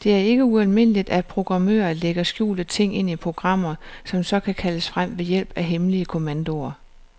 Det er ikke ualmindeligt, at programmører lægger skjulte ting ind i programmer, som så kan kaldes frem ved hjælp af hemmelige kommandoer.